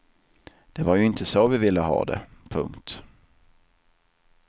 Det var ju inte så vi ville ha det. punkt